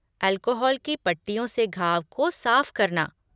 Alcohol की पट्टियों से घाव को साफ़ करना।